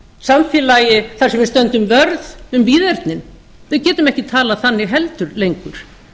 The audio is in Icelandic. samfélagi þar sem við stöndum vörð um víðernin við getum ekki talað þannig heldur lengur